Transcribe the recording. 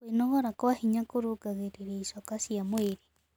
Kwĩnogora kwa hinya kũrũngagĩrĩrĩa ĩchoka cia mwĩrĩ